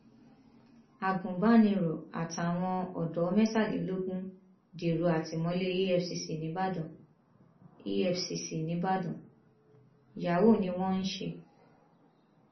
agunbàníró àtàwọn ọdọ mẹtàlélógún dèrò àtìmọlé efcc nìbàdàn efcc nìbàdàn yahoo ni wọn ń ṣe